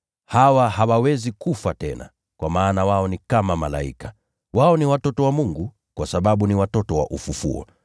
Hawa hawawezi kufa tena, kwa maana wao ni kama malaika. Wao ni watoto wa Mungu, kwa sababu ni watoto wa ufufuo.